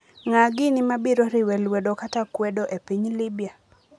Ng'a gini mabiro riwe lwedo kata kwedo e piny Libya?